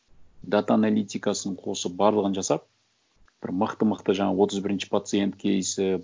дата аналитикасын қосып барлығын жасап бір мықты мықты жаңа отыз бірінші пациент кейсі